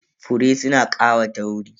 Fure suna ƙawata wuri.